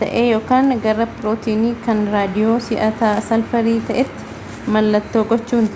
ta'ee ykn gara pirootinii kan raadiyoo si'aataa salfarii ta'eetti mallattoo gochuun